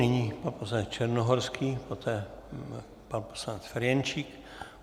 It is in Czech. Nyní pan poslanec Černohorský, poté pan poslanec Ferjenčík.